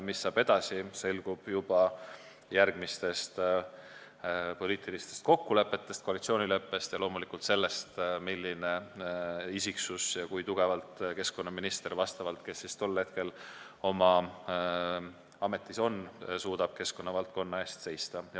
Mis saab edasi, selgub juba järgmistest poliitilistest kokkulepetest, sh koalitsioonileppest, ja loomulikult sellest, milline isiksus on tol hetkel ametis olev keskkonnaminister ja kui tugevalt ta suudab keskkonnavaldkonna eest seista.